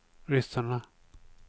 ryssarna